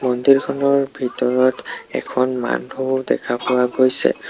মন্দিৰখনৰ ভিতৰত এখন মানুহ দেখা পোৱা গৈছে।